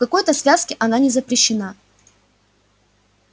в какой-то связке она не запрещена